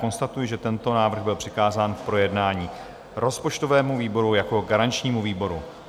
Konstatuji, že tento návrh byl přikázán k projednání rozpočtovému výboru jako garančnímu výboru.